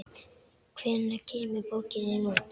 Hvenær kemur bókin þín út?